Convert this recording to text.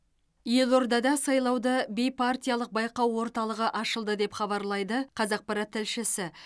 елордада сайлауды бейпартиялық байқау орталығы ашылды деп хабарлайды қазақпарат тілшісі